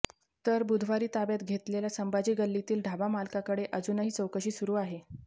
तर बुधवारी ताब्यात घेतलेल्या संभाजी गल्लीतील ढाबामालकाकडे अजूनही चौकशी सुरू आहे